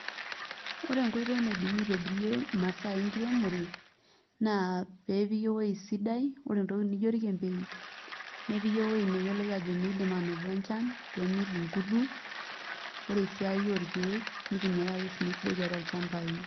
ore enkoitoi naidimi aitobirie imasaa enkiremore naa peepiki ewuei sidai, ore entoki naaijo orkembei nepiki ewuei neyioloi ajo meidim aanotito enchan peemibung kutu, ore esiai orkeek nitumiyai ake sininye esidai tiatua ilchambai.